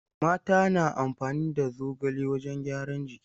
Mata na amfani da zogale wajen gyaran jiki.